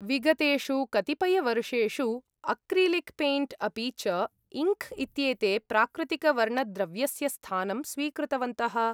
विगतेषु कतिपयवर्षेषु, acrylic paint अपि च इङ्क् इत्येते प्राकृतिकवर्णद्रव्यस्य स्थानं स्वीकृतवन्तः।